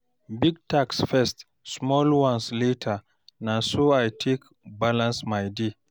Big tasks first, small ones later, na so I take balance my day.